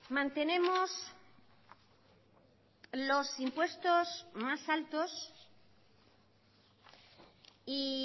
mantenemos los impuestos más altos y